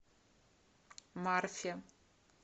марфе